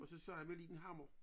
Og så med liden hammer